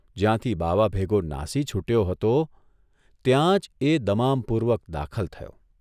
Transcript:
જ્યાંથી બાવાભેગો નાસી છૂટ્યો હતો ત્યાં જ એ દમામપૂર્વક દાખલ થયો.